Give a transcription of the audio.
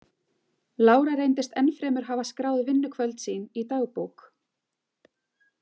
Lára reyndist ennfremur hafa skráð vinnukvöld sín í dagbók.